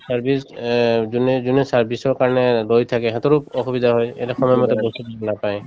service অ যোনে যোনে service ৰ কাৰণে গৈ থাকে সেহেঁতৰো অসুবিধা হয় এতিয়া সময়মতে বস্তুতো নাপায়